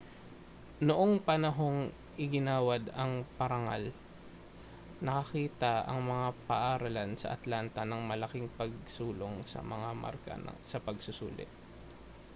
noong panahong iginawad ang parangal nakakita ang mga paaralan sa atlanta ng malaking pagsulong sa mga marka sa pagsusulit